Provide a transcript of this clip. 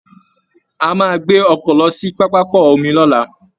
A máa gbé ọkọ̀ lọ sí pápákọ omi lọ́la